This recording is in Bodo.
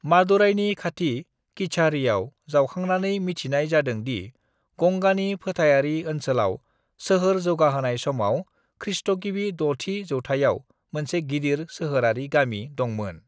मादुराइनि खाथि किझाड़ीआव जावखांनानै मिथिनाय जादों दि गंगानि फोथारारि ओनसोलाव सोहोर जौगाहोनाय समाव खृष्टगिबि द'थि जौथायाव मोनसे गिदिर सोहोरारि गामि दंमोन।